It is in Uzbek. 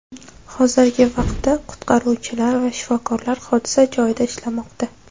Hozirgi vaqtda qutqaruvchilar va shifokorlar hodisa joyida ishlamoqda.